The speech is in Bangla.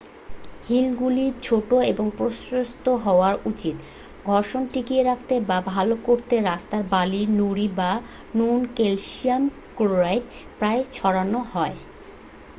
হিলগুলি ছোট এবং প্রশস্ত হওয়া উচিত। ঘর্ষণ টিকিয়ে রাখতে বা ভাল করতে রাস্তায় বালি নুড়ি বা নুন ক্যালশিয়াম ক্লোরাইড প্রায়ই ছড়ানো হয়।